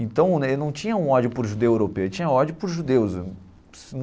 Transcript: Então, ele não tinha um ódio por judeu europeu, ele tinha ódio por judeus.